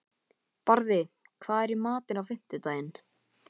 Barði, hvað er í matinn á fimmtudaginn?